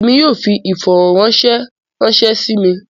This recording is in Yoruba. Èmi yóò fí ifọ̀rọ̀ranṣẹ̀ ranṣẹ̀ sí mí.